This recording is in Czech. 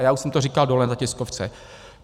A já už jsem to říkal dole na tiskovce.